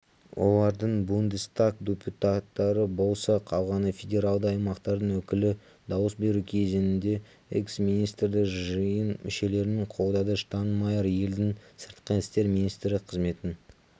олардың бундестаг депутаттары болса қалғаны федералды аймақтардың өкілі дауыс беру кезінде экс-министрді жиын мүшелерінің қолдады штайнмайер елдің сыртқы істер министрі қызметін